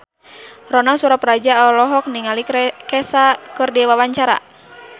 Ronal Surapradja olohok ningali Kesha keur diwawancara